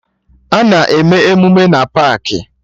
Ana eme emụme na paakị